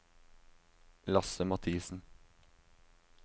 Lasse Mathisen